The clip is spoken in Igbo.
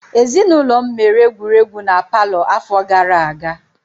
Ezinụlọm mere egwuregwu na palọ afọ gara aga.